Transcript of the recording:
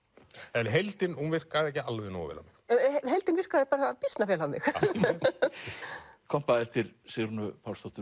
en heildin virkaði ekki alveg nógu vel á mig heildin virkaði býsna vel á mig kompa eftir Sigrúnu Pálsdóttur